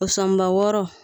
O sɔnba wɔɔrɔ